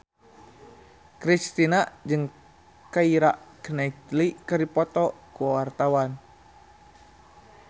Kristina jeung Keira Knightley keur dipoto ku wartawan